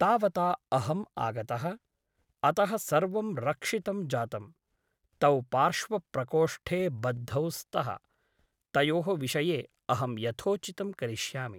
तावता अहम् आगतः । अतः सर्वं रक्षितं जातम् । तौ पार्श्वप्रकोष्ठे बद्धौ स्तः । तयोः विषये अहं यथोचितं करिष्यामि ।